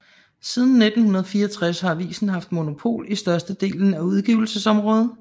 Siden 1964 har avisen haft monopol i størstedelen af udgivelsesområdet